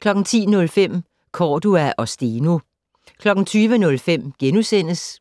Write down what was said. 10:05: Cordua og Steno 20:05: